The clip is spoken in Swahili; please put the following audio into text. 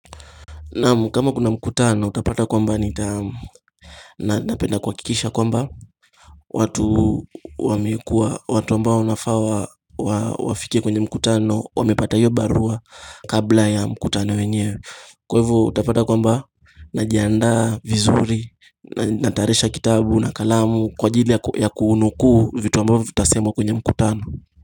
Naam kama kuna mkutano utapata kwamba nita Napenda kuhakikisha kwamba watu wamekua watu ambao unafaa wa Wafike kwenye mkutano Wamepata hiyo barua Kabla ya mkutano wenyewe Kwaivo utapata kwamba Najiandaa vizuri Natayarisha kitabu na kalamu Kwa ajili ya kunukuu vitu ambavyo vitasemwa kwenye mkutano.